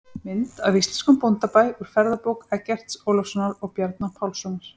Mynd af íslenskum bóndabæ úr ferðabók Eggerts Ólafssonar og Bjarna Pálssonar.